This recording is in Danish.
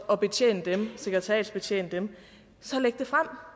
at sekretariatsbetjene dem så læg det frem